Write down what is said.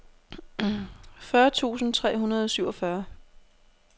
fyrre tusind tre hundrede og syvogfyrre